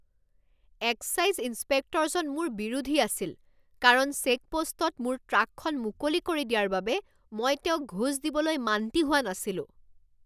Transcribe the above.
Excise ইঞ্চপেক্টৰজন মোৰ বিৰোধী আছিল কাৰণ চেকপোষ্টত মোৰ ট্ৰাকখন মুকলি কৰি দিয়াৰ বাবে মই তেওঁক ঘোচ দিবলৈ মান্তি হোৱা নাছিলোঁ।